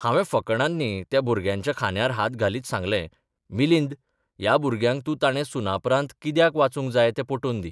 हांवें फकाणांनी त्या भुरग्यांच्या खांद्यार हात घालीत सांगलेंः मिलिंद, ह्या भुरग्याक तूं ताणे सुनापरान्त कित्याक वाचूंक जाय तें पटोवन दी.